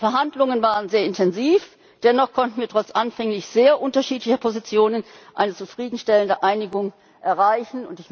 Die Verhandlungen waren sehr intensiv. Dennoch konnten wir trotz anfänglich sehr unterschiedlicher Positionen eine zufriedenstellende Einigung erreichen.